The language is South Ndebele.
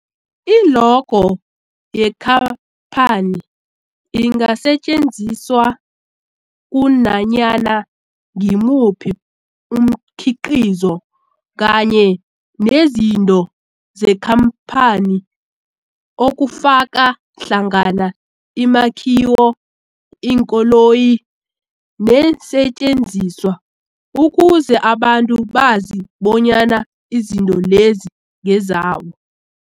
I-logo yekhaphani ingasetjenziswa kunanyana ngimuphi umkhiqizo kanye nezinto zekhamphani okufaka hlangana imakhiwo, iinkoloyi neesentjenziswa ukuze abantu bazi bonyana izinto lezo ngezabo.